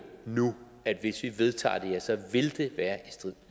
nu at hvis vi vedtager det her vil det være i strid